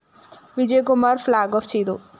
Vijayakumar‍ flag off ചെയ്തു